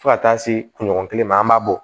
Fo ka taa se kunɲɔgɔn kelen ma an b'a bɔ